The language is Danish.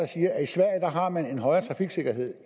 siger at i sverige har man en højere trafiksikkerhed